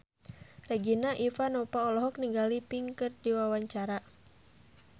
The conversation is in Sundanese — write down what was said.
Regina Ivanova olohok ningali Pink keur diwawancara